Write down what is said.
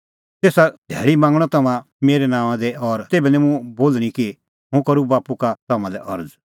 तेसा धैल़ी मांगणअ तम्हां मेरै नांओंआं दी और तेभै निं मुंह इहअ बोल़णीं कि हुंह करूं बाप्पू का तम्हां लै अरज़